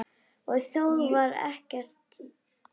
Og þó varð ekkert sannað.